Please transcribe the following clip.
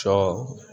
Sɔ